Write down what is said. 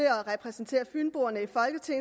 at repræsentere fynboerne